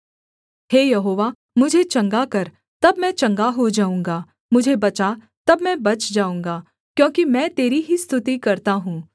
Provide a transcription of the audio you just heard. हे यहोवा मुझे चंगा कर तब मैं चंगा हो जाऊँगा मुझे बचा तब मैं बच जाऊँगा क्योंकि मैं तेरी ही स्तुति करता हूँ